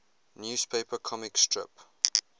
newspaper comic strip